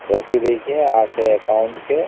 ସେ account ରେ